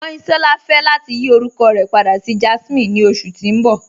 Kanyinsọla fẹ lati yí orúkọ rẹ pàdà sí Jásminè ni oṣù tí n bọ̀